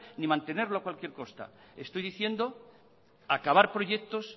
ni mantenerlo a cualquier costa estoy diciendo acabar proyectos